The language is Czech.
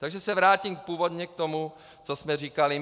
Takže se vrátím původně k tomu, co jsme říkali.